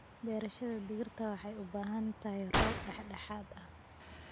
Beerashada digirta waxay u baahan tahay roob dhexdhexaad ah.